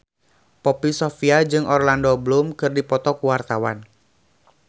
Poppy Sovia jeung Orlando Bloom keur dipoto ku wartawan